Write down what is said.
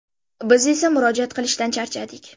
Biz esa murojaat qilishdan charchadik.